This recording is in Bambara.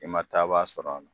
I ma taa baa sɔrɔ a la